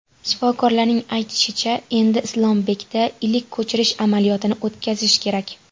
Shifokorlarning aytishicha, endi Islombekda ilik ko‘chirish amaliyotini o‘tkazish kerak.